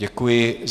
Děkuji.